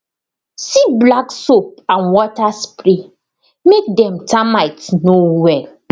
se black soap and water spray make dem mites no well